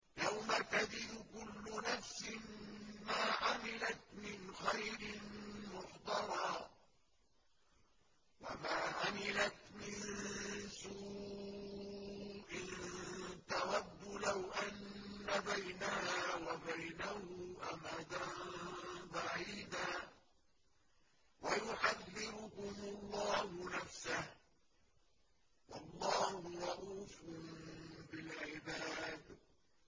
يَوْمَ تَجِدُ كُلُّ نَفْسٍ مَّا عَمِلَتْ مِنْ خَيْرٍ مُّحْضَرًا وَمَا عَمِلَتْ مِن سُوءٍ تَوَدُّ لَوْ أَنَّ بَيْنَهَا وَبَيْنَهُ أَمَدًا بَعِيدًا ۗ وَيُحَذِّرُكُمُ اللَّهُ نَفْسَهُ ۗ وَاللَّهُ رَءُوفٌ بِالْعِبَادِ